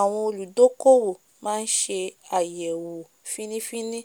àwon olùdókòwò máá se àyèwò fíní- fíní